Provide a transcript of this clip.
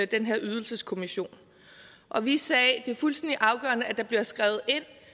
den her ydelseskommissionen og vi sagde at det var fuldstændig afgørende at det blev skrevet